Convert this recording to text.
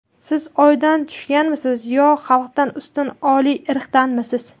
Siz oydan tushganmisiz, yo xalqdan ustun oliy irqdanmisiz?